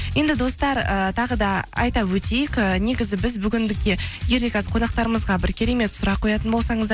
енді достар ііі тағы да айта өтейік ііі негізі біз бүгіндікке қонақтарымызға бір керемет сұрақ қоятын болсаңыздар